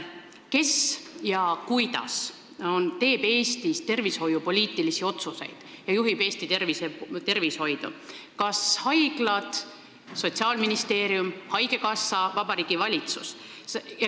Kes ja kuidas teeb Eestis tervishoiupoliitilisi otsuseid ja juhib Eesti tervishoidu, kas haiglad, Sotsiaalministeerium, haigekassa, Vabariigi Valitsus?